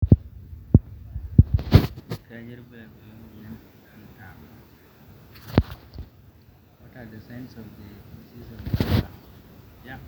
kanyio irbulabul le moyian entano